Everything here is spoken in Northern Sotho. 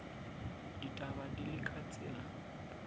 ditaba di le ka tsela